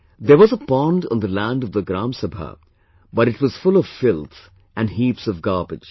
There was a pond on the land of the Gram Sabha, but it was full of filth and heaps of garbage